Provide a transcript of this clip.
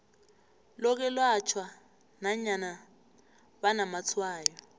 lokwelatjhwa nanyana banamatshwayo